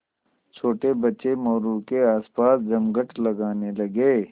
छोटे बच्चे मोरू के आसपास जमघट लगाने लगे